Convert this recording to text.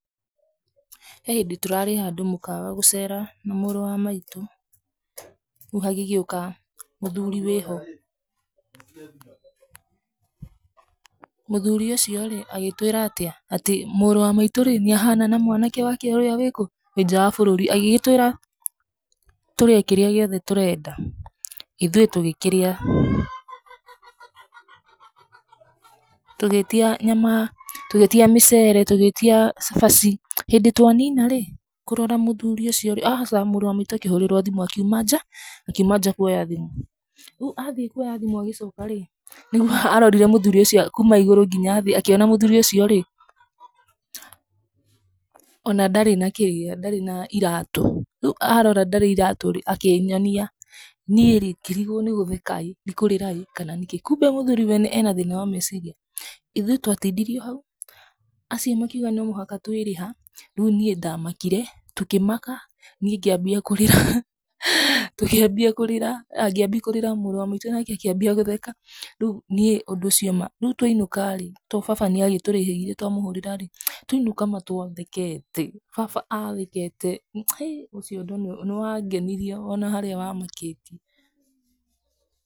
He hĩndĩ tũraarĩ handũ mũkawa gũcera na mũũrũ wa maitũ, rĩu hagĩgĩũka mũthuri wĩho, mũthuri ũcio rĩ agĩtwĩra atĩa, atĩ mũũrũ wa maitũ rĩ nĩ ahana na mwanake wake ũrĩa wĩkũ, wĩ nja wa bũrũri. Agĩgĩtwĩra tũrĩe kĩrĩa gĩothe tũrenda, ithuĩ tũgĩkĩrĩa. Tũgĩtia nyama, tũgĩtia mĩcere, tũgĩtia cabaci. Hĩndĩ twanina rĩ, kũrora mũthuri ũcio rĩ, aca, mũũrũ wa maitũ akĩhũrĩrwo thimũ akiuma nja, akiuma nja kuoya thimũ. Rĩu athiĩ kuoya thimũ agĩcoka rĩ, nĩguo arorire mũthuri ũcio kuuma igũrũ nginya thĩ akiona mũthuri ũcio rĩ, ona ndarĩ na kĩrĩa, ndarĩ na iratũ. Rĩu arora ndarĩ iratũ rĩ, akĩnyonia. Niĩ rĩ ngĩrigwo nĩ gũtheka ĩĩ nĩ kũrĩra ĩĩ nĩkĩĩ kumbe mũthuri wene ena thĩna wa meciria. Ithuĩ twatindirio hau, acio makiuga no mũhaka twĩrĩha. Rĩu niĩ ndamakire, tũkĩmaka, niĩ ngĩambia kũrĩra, tũkĩambia kũrĩra, aah ngĩambia kũrira, mũũrũ wa maitũ nake akĩambia gũtheka. Rĩu niĩ ũndũ ũcio ma, rĩu twainũka rĩ, tondũ baba nĩ agĩtũrĩhĩire twamũhũrĩra rĩ, twainũka ma twathekete, baba athekete, he, ũcio ũndũ nĩ wangenirie ona harĩa wamakĩtie.